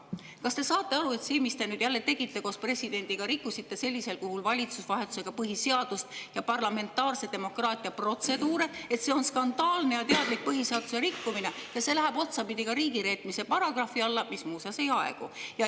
Kas te saate aru, et see, mida te nüüd jälle tegite koos presidendiga – rikkusite sellisel kujul valitsust vahetades põhiseadust ja parlamentaarse demokraatia protseduure –, on skandaalne ja teadlik põhiseaduse rikkumine ning läheb otsapidi ka riigireetmise paragrahvi alla, mis muuseas ei aegu?